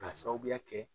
K'a sababuya kɛ